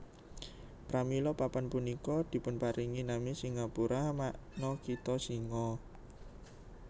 Pramila papan punika dipunparingi nami Singapura makna kitha singa